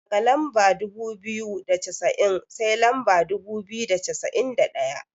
Daga lamba dubu biyu da cassa'in sai lamba dubu biyu da cassa'in da ɗaya.